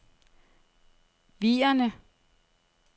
Vierne